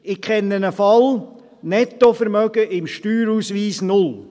Ich kenne einen Fall, Nettovermögen im Steuerausweis: null.